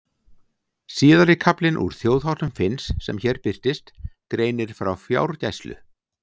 Síðari kaflinn úr Þjóðháttum Finns sem hér birtist greinir frá fjárgæslu.